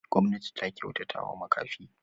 Gwamnati ta kyautatawa makafi.